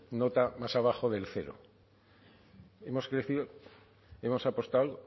nota más abajo del cero hemos crecido hemos apostado